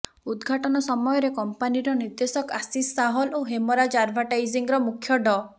ଉଦଘାଟନ ସମୟରେ କମ୍ପାନୀର ନିର୍ଦ୍ଦେଶକ ଆଶିଷ୍ ସାହଲ ଓ ହେମରାଜ ଆଡଭର୍ଟାଇଜିଂର ମୁଖ୍ୟ ଡ